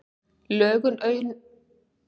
Lögun augasteinsins lýtur stjórn brárvöðva.